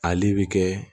Ale bi kɛ